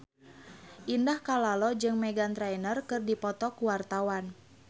Indah Kalalo jeung Meghan Trainor keur dipoto ku wartawan